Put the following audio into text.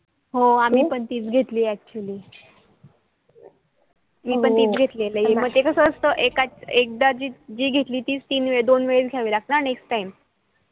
हो आम्ही पण ती च घेतली actually मी पण तीच घेतली ये म्हणजे कास असत एकदा जी घेतली ये तीच दोन वेळेस घ्यावी लागती ना next time